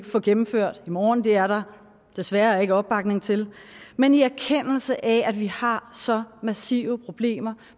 få gennemført i morgen for det er der desværre ikke opbakning til men i erkendelse af at vi har så massive problemer